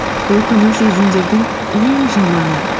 өкіну сезімдердің ең жаманы